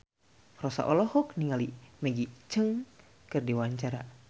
Rossa olohok ningali Maggie Cheung keur diwawancara